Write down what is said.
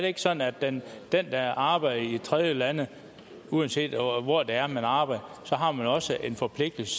ikke sådan at den der arbejder i tredjelande uanset hvor det er man arbejder også har en forpligtelse